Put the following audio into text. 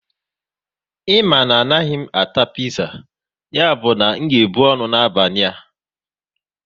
Ị ma na m anaghị ata piza, ya bụ na m ga ebu ọnụ n'abalị a